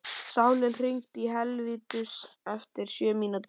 Salín, hringdu í Helvítus eftir sjötíu mínútur.